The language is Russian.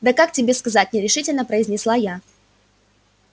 да как тебе сказать нерешительно произнесла я